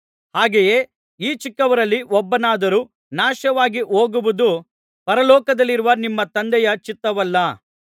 ಹಾಗೆಯೇ ಈ ಚಿಕ್ಕವರಲ್ಲಿ ಒಬ್ಬನಾದರೂ ನಾಶವಾಗಿಹೋಗುವುದು ಪರಲೋಕದಲ್ಲಿರುವ ನಿಮ್ಮ ತಂದೆಯ ಚಿತ್ತವಲ್ಲ